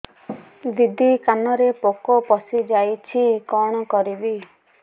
ଦିଦି କାନରେ ପୋକ ପଶିଯାଇଛି କଣ କରିଵି